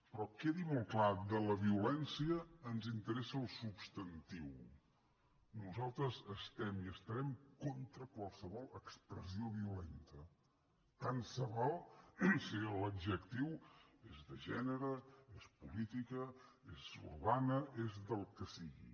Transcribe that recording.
però quedi molt clar de la violència ens interessa el substantiu nosaltres estem i estarem contra qualsevol expressió violenta tant se val si l’adjectiu és de gènere és política és urbana és del que sigui